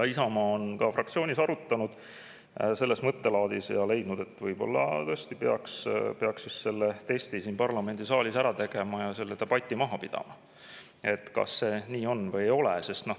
Isamaa on ka fraktsioonis arutanud selles mõttelaadis ja leidnud, et võib-olla tõesti peaks selle testi siin parlamendisaalis ära tegema, pidama maha selle debati, kas see nii on või ei ole.